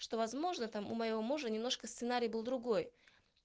что возможно там у моего мужа немножко сценарий был другой